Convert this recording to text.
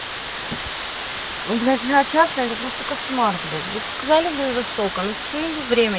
блять я честно это просто кошмар блять вот сказали блин востока ну почему вы время